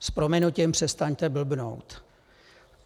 S prominutím, přestaňte blbnout.